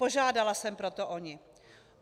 Požádala jsem proto o ni.